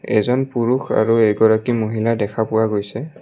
এজন পুৰুষ আৰু এগৰাকী মহিলা দেখা পোৱা গৈছে।